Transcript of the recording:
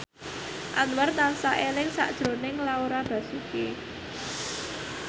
Anwar tansah eling sakjroning Laura Basuki